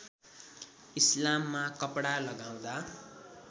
इस्लाममा कपडा लगाउँदा